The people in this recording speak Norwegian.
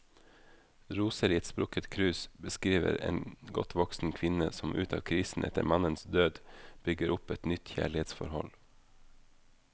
Roser i et sprukket krus beskriver en godt voksen kvinne som ut av krisen etter mannens død, bygger opp et nytt kjærlighetsforhold.